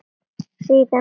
Síðan á mig aftur.